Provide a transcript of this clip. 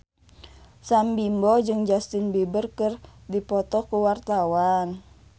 Sam Bimbo jeung Justin Beiber keur dipoto ku wartawan